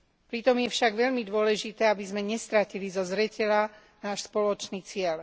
Pritom je však veľmi dôležité, aby sme nestratili zo zreteľa náš spoločný cieľ.